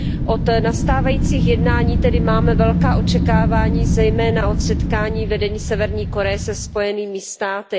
Od nastávajících jednání máme tedy velká očekávání, zejména od setkání vedení Severní Koreje se Spojenými státy.